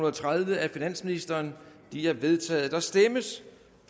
og tredive af finansministeren de er vedtaget der stemmes